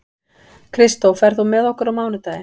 Kristó, ferð þú með okkur á mánudaginn?